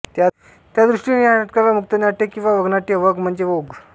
त्या दृष्टीने या नाटकाला मुक्तनाट्य किंवा वगनाट्य वग म्हणजे ओघ